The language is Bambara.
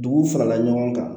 Duguw farala ɲɔgɔn kan